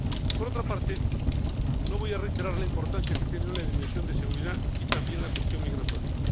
Por otra parte, no voy a reiterar la importancia que tiene la dimensión de seguridad y también la cuestión migratoria.